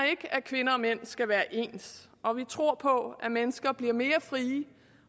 at kvinder og mænd skal være ens og vi tror på at mennesker bliver mere frie